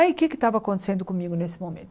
Aí o que é que estava acontecendo comigo nesse momento?